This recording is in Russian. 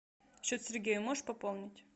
счет сергея можешь пополнить